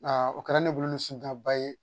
o kɛra ne bolo ni sindiya ba ye